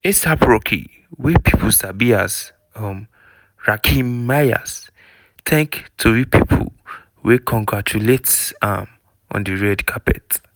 a$ap rocky wey pipo sabi as um rakim mayers thank tori pipo wey congratulates am on di red carpet.